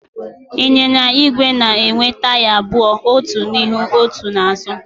Ịnyịnya igwe na-enwe taya abụọ, otu n'ihu, otu n'azụ.